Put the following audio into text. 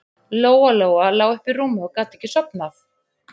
Lóa-Lóa lá uppi í rúmi og gat ekki sofnað.